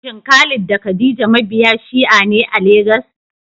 Shin Khalid da Khadija mabiya Shi'a ne a Legas?